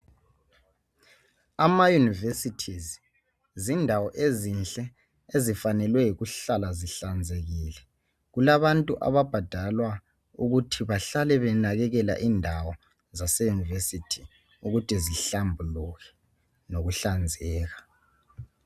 ama universities zindawo ezinhle ezifanelwe yikuhlala zihlanzekile kulabantu ababhadalwa ukuthi bahlale benakekela indawo ze university ukuthi zihlambuluke lokuhlanzeka